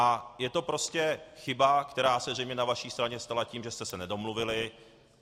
A je to prostě chyba, která se zřejmě na vaší straně stala tím, že jste se nedomluvili.